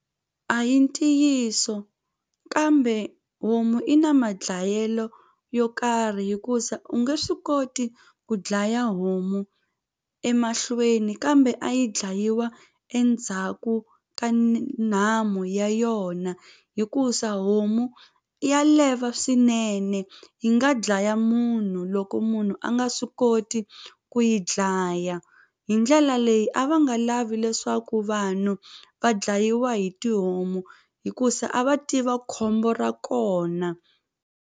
A hi ntiyiso kambe homu i na madlayelo yo karhi hikusa u nge swi koti ku dlaya homu emahlweni kambe a yi dlayiwa endzhaku ka nhamu ya yona hikusa homu ya leva swinene yi nga dlaya munhu loko munhu a nga swi koti ku yi dlaya hi ndlela leyi a va nga lavi leswaku vanhu va dlayiwa hi tihomu hikusa a va tiva khombo ra kona.